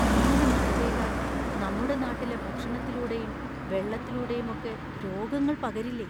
ഇങ്ങനെ മഴ പെയ്താൽ നമ്മുടെ നാട്ടിലെ ഭക്ഷണത്തിലൂടെയും വെള്ളത്തിലൂടെയും ഒക്കെ രോഗങ്ങൾ പകരില്ലേ?